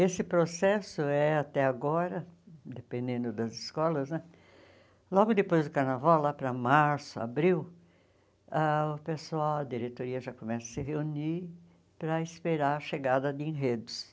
Esse processo é, até agora, dependendo das escolas né, logo depois do carnaval, lá para março, abril, ah o pessoal a diretoria já começa a se reunir para esperar a chegada de enredos.